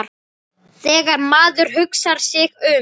Þegar maður hugsar sig um.